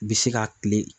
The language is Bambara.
Bi se ka kile